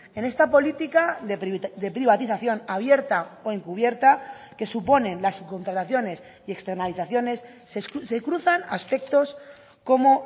en esta política de privatización abierta o encubierta que suponen las subcontrataciones y externalizaciones se cruzan aspectos como